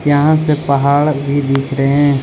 यहां से पहाड़ भी दिख रहे हैं।